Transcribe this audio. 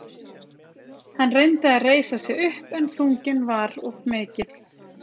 Hann reyndi að reisa sig upp en þunginn var of mikill.